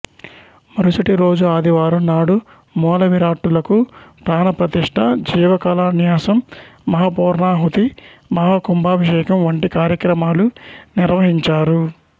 మరుసటిరోజు ఆదివారం నాడు మూలవిరాట్టులకు ప్రాణప్రతిష్ఠ జీవకళాన్యాసం మహాపూర్ణాహుతి మహాకుంభాభిషేకం వంటి కార్యక్రమాలు నిర్వహించారు